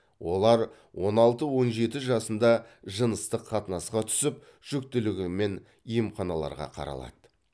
олар он алты он жеті жасында жыныстық қатынасқа түсіп жүкітілігімен емханаларға қаралады